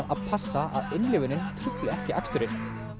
að passa að innlifunin trufli ekki aksturinn